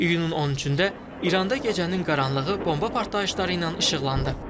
İyunun 13-də İranda gecənin qaranlığı bomba partlayışları ilə işıqlandı.